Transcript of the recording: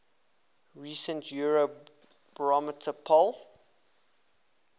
recent eurobarometer poll